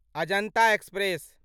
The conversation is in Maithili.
अजन्ता एक्सप्रेस